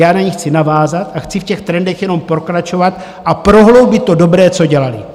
Já na ni chci navázat a chci v těch trendech jenom pokračovat a prohloubit to dobré, co dělali.